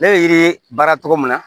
Ne bɛ yiri baara tɔgɔ min na